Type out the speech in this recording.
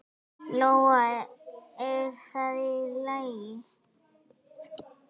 Lóa: Er það í lagi?